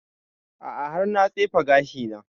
A'a har na tsefe gashi na